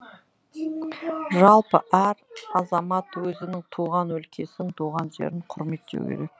жалпы әр азамат өзінің туған өлкесін туған жерін құрметтеу керек